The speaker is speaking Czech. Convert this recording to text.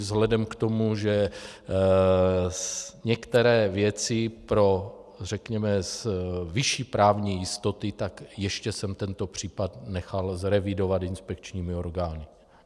Vzhledem k tomu, že některé věci pro, řekněme, vyšší právní jistoty, tak ještě jsem tento případ nechal zrevidovat inspekčními orgány.